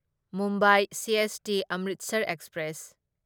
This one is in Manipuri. Mumbai CST Amritsar express